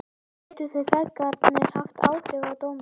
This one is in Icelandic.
Gætu þeir feðgarnir haft áhrif á dóminn?